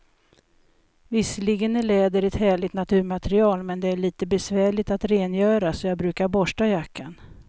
Visserligen är läder ett härligt naturmaterial, men det är lite besvärligt att rengöra, så jag brukar borsta jackan.